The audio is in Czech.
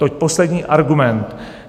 To je poslední argument.